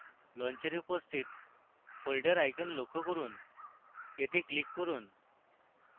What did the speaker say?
launcher উপস্থিত folder icon লক্ষ্য করুন এতে click করুন